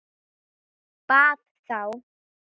Bað þá